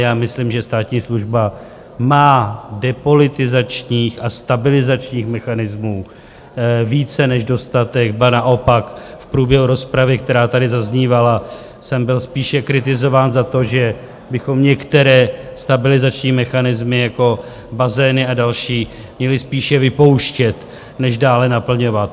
Já myslím, že státní služba má depolitizačních a stabilizačních mechanismů více než dostatek, ba naopak, v průběhu rozpravy, která tady zaznívala, jsem byl spíše kritizován za to, že bychom některé stabilizační mechanismy, jako bazény a další, měli spíše vypouštět než dále naplňovat.